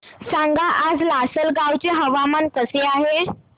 सांगा आज लासलगाव चे हवामान कसे आहे